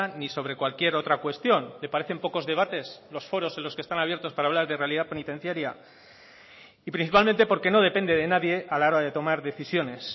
ni sobre cualquier otra cuestión le parecen pocos debates los foros en los que están abiertos para hablar de realidad penitenciaria y principalmente porque no depende de nadie a la hora de tomar decisiones